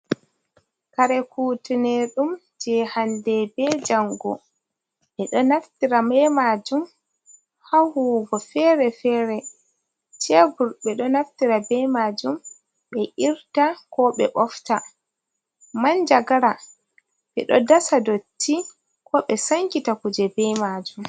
Kare kutinirɗum je hande be jango, ɓeɗo naftira be majum hahuwugo fere-fere, cebur ɓeɗo naftira be majum ɓe irta, ko ɓe bofta. manjagara ɓeɗo dasa dotti, ko ɓe sankita kuje be majum.